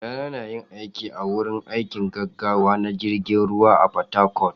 yayana yina aiki a wurin aikin gaggawa na jirgin ruwa a port-harcourt